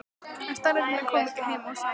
en staðreyndirnar koma ekki heim og saman.